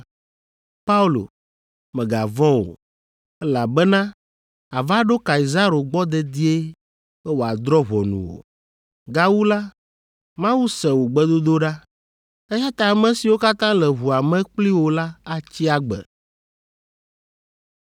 ‘Paulo, mègavɔ̃ o, elabena àva ɖo Kaisaro gbɔ dedie be wòadrɔ̃ ʋɔnu wò. Gawu la, Mawu se wò gbedodoɖa, eya ta ame siwo katã le ʋua me kpli wò la atsi agbe’